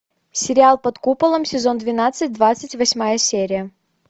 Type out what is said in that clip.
сериал под куполом сезон двенадцать двадцать восьмая серия